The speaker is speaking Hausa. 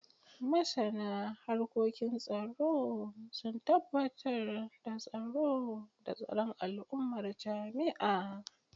Masana harkokin tsaro sun tabbatar da tsaro da tsaron al’ummar jami’a.